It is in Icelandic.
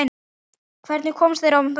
Hvernig komust þeir á mótið?